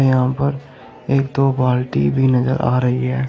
यहां पर एक दो बाल्टी भी नजर आ रही है।